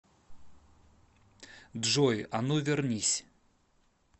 джой а ну вернись